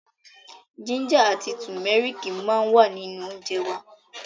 Jínjà àti tùmẹ́rìkì ma wà nínú óńjẹ wa.